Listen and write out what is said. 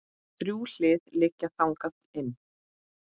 Þrjú hlið liggja þangað inn.